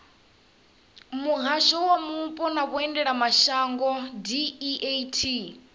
muhasho wa mupo na vhuendelamashango deat